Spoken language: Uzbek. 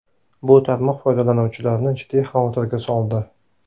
Bu tarmoq foydalanuvchilarini jiddiy xavotirga soldi.